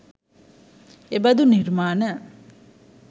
එබඳු නිර්මාණ